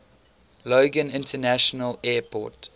logan international airport